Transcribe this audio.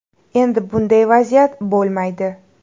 Endi bunday vaziyat bo‘lmaydi.